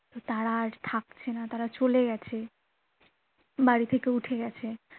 তারা আর থাকছে না তারা চলে গেছে বাড়ি থেকে উঠে গেছে